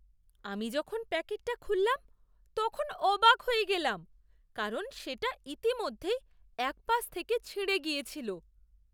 আমি যখন প্যাকেটটা খুললাম তখন অবাক হয়ে গেলাম কারণ সেটা ইতিমধ্যেই এক পাশ থেকে ছিঁড়ে গিয়েছিল!